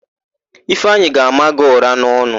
Ifeanyị ga-ama gị ụ̀rá n'ọnụ.